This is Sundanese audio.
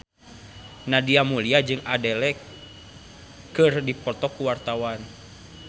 Nadia Mulya jeung Adele keur dipoto ku wartawan